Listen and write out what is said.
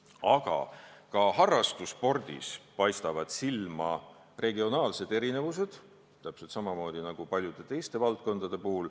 Aga ka harrastusspordis torkavad silma regionaalsed erinevused, täpselt samamoodi nagu paljudes teistes valdkondades.